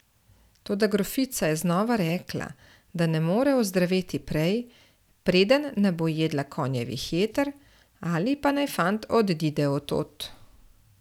Toda grofica je znova rekla, da ne more ozdraveti prej, preden ne bo jedla konjevih jeter, ali pa naj fant odide od tod.